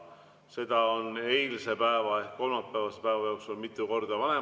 Seda on vanematekogu eilse ehk kolmapäevase päeva jooksul mitu korda arutanud.